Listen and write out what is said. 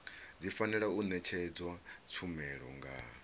fanela u ṅetshedzwa tshumelo nga